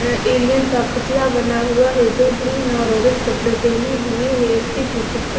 अं alien का पुतला बना हुआ है जो ग्रीन और वुडन कपड़े पेहने हुए है उसके पीछे--